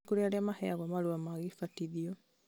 nĩ kũrĩ arĩa maheyagwo marũa ma gĩbatithio